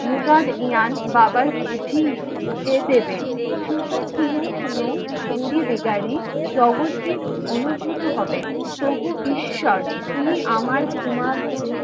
মুগার ইয়ান বাঘার বুঝিয়ে দেবেন অনুভূত হবেন, প্রভু ঈশ্বর উনি আমার ঘুমানো